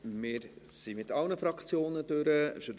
Wir sind mit allen Fraktionen durch.